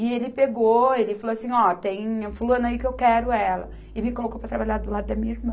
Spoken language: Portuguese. E ele pegou, ele falou assim, ó, tem a fulana aí que eu quero ela, e me colocou para trabalhar do lado da minha irmã.